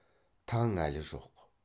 таң әлі жоқ